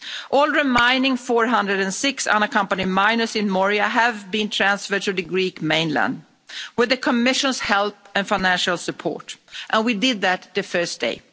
All remaining 406 unaccompanied minors in Moria have been transferred to the Greek mainland with the Commission's help and financial support, and we did that the first day.